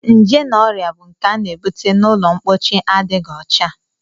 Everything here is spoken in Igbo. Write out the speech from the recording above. Nje na ọrịa bụ nke a na-ebute n'ụlọmpochi adịghị ọcha